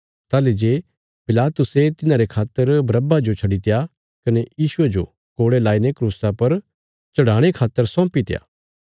ताहली जे पिलातुसे तिन्हारे खातर बरअब्बा जो छड्डीत्या कने यीशुये जो कोड़े लाईने क्रूसा पर चढ़ाणे खातर सौंपीत्या